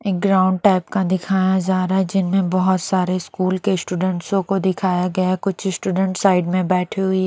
एक ground type का दिखाया जा रहा है जिनमें बहुत सारे स्कूल के स्टूडेंट्सो को दिखाया गया है कुछ स्टूडेंट्स साइड में बैठे हुई।